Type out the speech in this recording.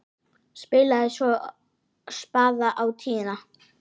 Spilaði svo spaða á tíuna!